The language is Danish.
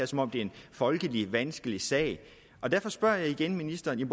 som om det er en folkeligt vanskelig sag derfor spørger jeg ministeren